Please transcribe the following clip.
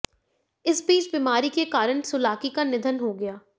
इस बीच बीमारी के कारण सुलाकी का निधन हो गया